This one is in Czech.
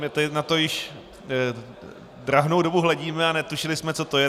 My tady na to již drahnou dobu hledíme a netušili jsme, co to je.